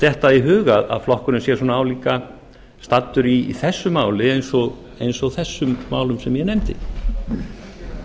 detta í hug að flokkurinn sé svona álíka staddur í þessu máli eins og þessum málum sem ég